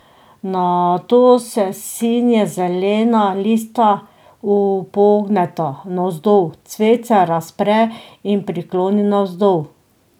Nato se sinje zelena lista upogneta navzdol, cvet se razpre in prikloni navzdol.